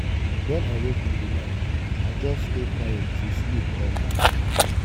when i wake in the night i just stay quiet till sleep come back.